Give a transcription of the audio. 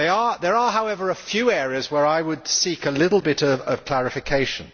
There are, however, a few areas where I would seek a little bit of clarification.